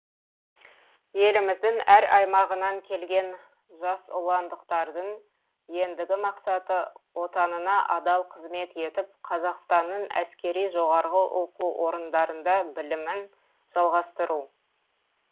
еліміздің әр аймағынан келген жасұландықтардың ендігі мақсаты отанына адал қызмет етіп қазақстанның әскери жоғарғы оқу орындарында білімін жалғастыру